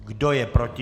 Kdo je proti?